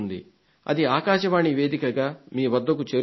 అది ఆకాశవాణి వేదికగా మీ వద్దకు చేరుతుంది